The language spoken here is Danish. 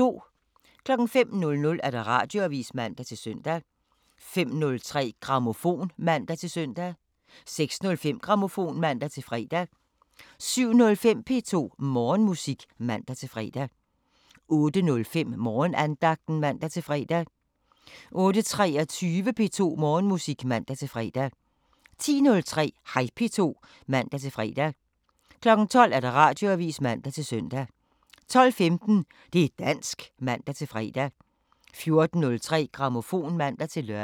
05:00: Radioavisen (man-søn) 05:03: Grammofon (man-søn) 06:05: Grammofon (man-fre) 07:05: P2 Morgenmusik (man-fre) 08:05: Morgenandagten (man-fre) 08:23: P2 Morgenmusik (man-fre) 10:03: Hej P2 (man-fre) 12:00: Radioavisen (man-søn) 12:15: Det' dansk (man-fre) 14:03: Grammofon (man-lør)